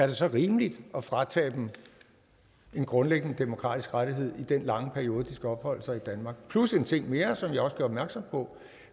det så er rimeligt at fratage dem en grundlæggende demokratisk rettighed i den lange periode de skal opholde sig i danmark plus en ting mere som jeg også gør opmærksom på